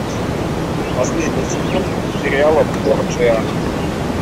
последний сезон сериала борджиа